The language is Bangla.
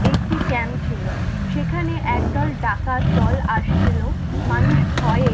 একটি camp ছিলো, সেখানে একদল ডাকাত দল আসছিল মানুষ ভয়ে!